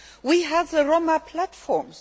plan. We have the Roma platforms.